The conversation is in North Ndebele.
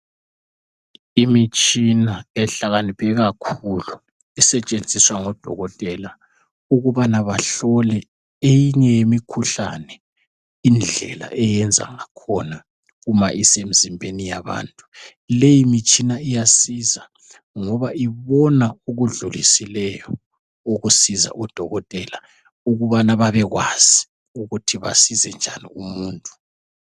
imitshina ehlakaniphe kakhulu esetshenziswa ngodokotela ukubana bahlola eminye yemikhuhlane indlela eyenza ngakhona uma isemzimbeni yabantu, lemitshina iyasiza ngoba ibona okudlulisileyo ukusiza odokotela ukubana babekwazi ukuthi basize njani umuntu